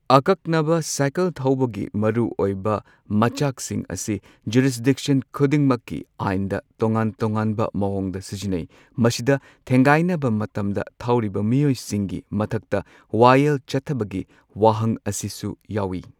ꯑꯀꯛꯅꯕ ꯁꯥꯏꯀꯜ ꯊꯧꯕꯒꯤ ꯃꯔꯨꯑꯣꯏꯕ ꯃꯆꯥꯛꯁꯤꯡ ꯑꯁꯤ ꯖꯨꯔꯤꯁꯗꯤꯛꯁꯟ ꯈꯨꯗꯤꯡꯃꯛꯀꯤ ꯑꯥꯏꯟꯗ ꯇꯣꯉꯥꯟ ꯇꯣꯉꯥꯟꯕ ꯃꯑꯣꯡꯗ ꯁꯤꯖꯤꯟꯅꯩ꯫ ꯃꯁꯤꯗ ꯊꯦꯡꯒꯥꯏꯅꯕ ꯃꯇꯝꯗ ꯊꯧꯔꯤꯕ ꯃꯤꯑꯣꯏꯁꯤꯡꯒꯤ ꯃꯊꯛꯇ ꯋꯥꯌꯦꯜ ꯆꯠꯊꯕꯒꯤ ꯋꯥꯍꯪ ꯑꯁꯤꯁꯨ ꯌꯥꯎꯏ꯫